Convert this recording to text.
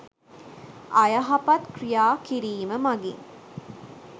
අයහපත් ක්‍රියා කිරීම මඟින්